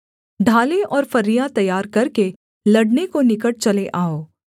ढालें और फरियाँ तैयार करके लड़ने को निकट चले आओ